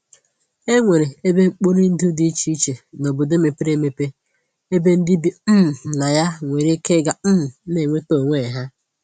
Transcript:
E nwere ebe mkporindụ dị iche iche n'obodo mepere eme ebe ndị bi um na ya nwere ike ịga um na-enweta onwe ha